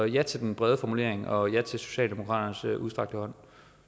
ja til den brede formulering og ja til socialdemokraternes udstrakte hånd